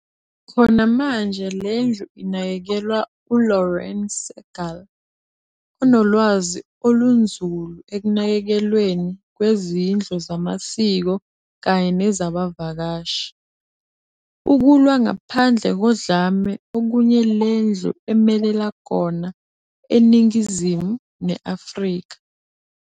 Khona manje lendlu inakekelwa u Lauren Segal, onolwazi olunzulu ekunakekelweni kwezindlo zamasiko kanye nezabavakashi, ukulwa ngaphandle kodlame okunye lendlu emele kona eNingizimu ne Afrika